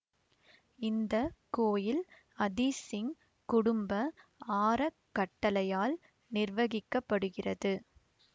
இந்த கோயில் அதீஸ்சிங் குடும்ப ஆறக்கட்டளையால் நிர்வகிக்கப்படுகிறது